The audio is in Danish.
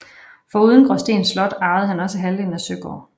Foruden Gråsten Slot arvede han også halvdelen af Søgård